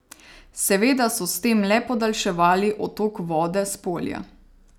Seveda so s tem le podaljševali odtok vode s polja.